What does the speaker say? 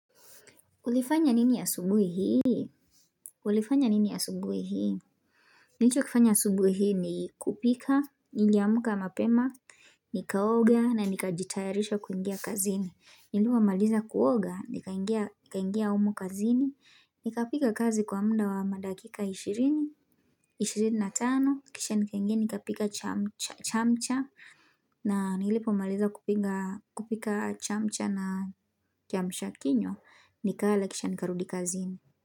Ulifanya nini asubuhi hii? Ulifanya nini asubuhi hii? Nilichokifanya subuhi hii ni kupika, niliamka mapema, nikaoga na nikajitayarisha kuingia kazini. Nilipo maliza kuoga, nikaingia humu kazini, nikapika kazi kwa muda wa madakika ishirini, ishirini na tano, kisha nikaingia nikapika chamcha, na nilipo maliza kupika chamcha na kiamsha kinywa, nikala kisha nikarudi kazini.